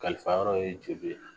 Kalifayɔrɔ ye jeli ye..